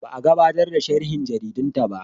Ba a gabatar da sharhin jaridunta ba.